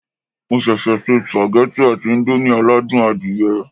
Mo ṣẹ̀ṣẹ̀ se sùpàgẹ́tì àti íńdómì aládùn adìyẹ